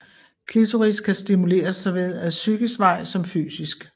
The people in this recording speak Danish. Klitoris kan stimuleres såvel ad psykisk vej som fysisk